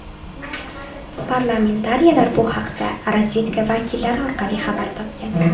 Parlamentariylar bu haqda razvedka vakillari orqali xabar topgan.